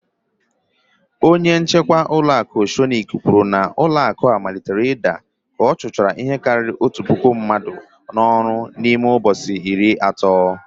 Oceanic Bank manager said that the bank starting falling after dismissing over one thousand staffs within thirty days.